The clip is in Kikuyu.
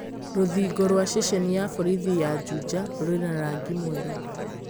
Rũthingo rwa ceceni ya borithi ya Juja rũrĩ na rangi mwerũ